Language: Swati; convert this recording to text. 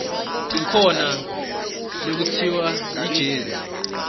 kukhona lekutsiwa yijezi